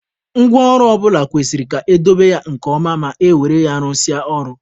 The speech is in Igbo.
Ngwa ọrụ ọ bụla kwesịrị ka edobe ya nke ọma ma e were ya rụsịa ọrụ.